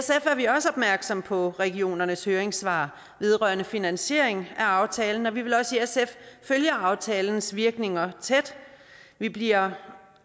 er vi også opmærksomme på regionernes høringssvar vedrørende finansieringen af aftalen og vi vil også i sf følge aftalens virkninger tæt vi bliver